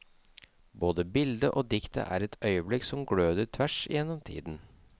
Både bildet og diktet er et øyeblikk som gløder tvers igjennom tiden.